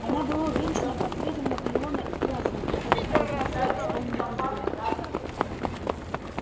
она была увенчана портретом наполеона в профиль который белой краской исполнил визгун